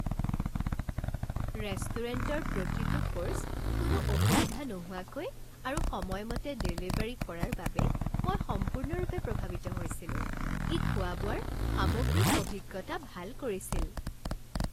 ৰেষ্টুৰেণ্টৰ প্ৰতিটো ক'ৰ্ছ কোনো অসুবিধা নোহোৱাকৈ আৰু সময়মতে ডেলেভাৰী কৰাৰ বাবে মই সম্পূৰ্ণৰূপে প্ৰভাৱিত হৈছিলো ই খোৱা বোৱাৰ সামগ্ৰিক অভিজ্ঞতা ভাল কৰিছিল।